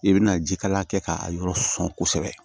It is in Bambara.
I bɛna jikalala kɛ k'a yɔrɔ sɔn kosɛbɛ